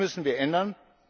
Das müssen wir ändern.